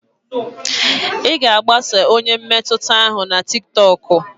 Ị ga-agbaso onye mmetụta ahụ na tiktokụ?